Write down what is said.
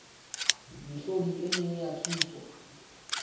mehlodi e meng ya thuso